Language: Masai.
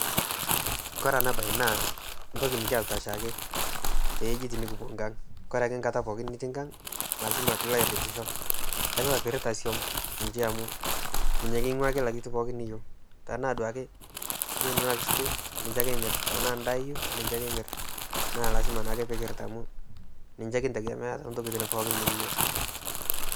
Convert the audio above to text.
kore ena baye naa entoki nikiyasita oshiake, ore enkata pooki nitii inkang, naailasima pee ilo airiritisho ilasima pee irita isuam amu niche kila kitu pooki niyieu tenaa sukuul niche imir, tenaa edaa niche imir.